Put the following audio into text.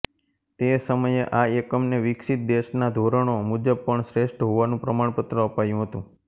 તે સમયે આ એકમને વિકસિત દેશના ધોરણો મુજબ પણ શ્રેષ્ઠ હોવાનું પ્રમાણપત્ર અપાયુ હતું